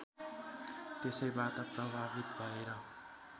त्यसैबाट प्रभावित भएर